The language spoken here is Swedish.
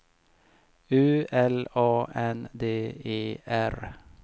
U L A N D E R